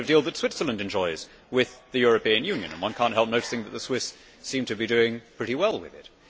It is the kind of deal that Switzerland enjoys with the European Union and one cannot help noticing that the Swiss seem to be doing pretty well with it.